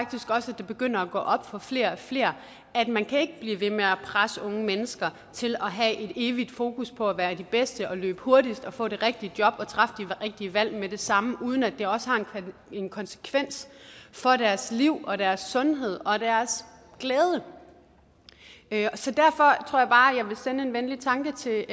det begynder at gå op for flere og flere at man ikke kan blive ved med at presse unge mennesker til at have et evigt fokus på at være de bedste og løbe hurtigst og få det rigtige job og træffe de rigtige valg med det samme uden at det også har en konsekvens for deres liv og deres sundhed og deres glæde så derfor tror jeg bare jeg vil sende en venlig tanke til